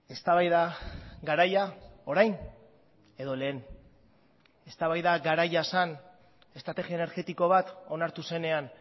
eztabaida garaia orain edo lehen eztabaida garaia zen estrategia energetiko bat onartu zenean